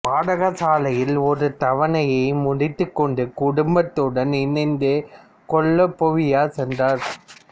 பாடசாலையில் ஒரு தவணையை முடித்துக்கொண்டு குடும்பத்துடன் இணைந்துகொள்ளப் பேவியா சென்றார்